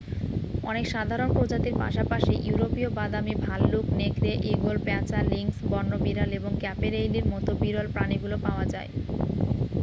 অনেক সাধারণ প্রজাতির পাশাপাশি ইউরোপীয় বাদামী ভাল্লুক নেকড়ে ঈগল পেঁচা লিংস বন্য বিড়াল এবং ক্যাপেরেইলির মতো বিরল প্রাণীগুলি পাওয়া যায়